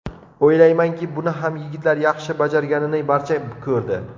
O‘ylaymanki, buni ham yigitlar yaxshi bajarganini barcha ko‘rdi.